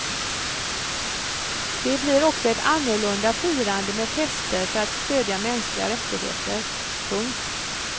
Det blir också ett annorlunda firande med fester för att stödja mänskliga rättigheter. punkt